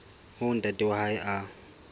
moo ntate wa hae a